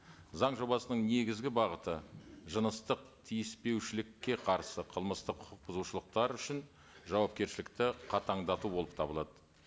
заң жобасының негізгі бағыты жыныстық тиіспеушілікке қарсы қылмыстық құқық бұзушылықтар үшін жауапкершілікті қатаңдату болып табылады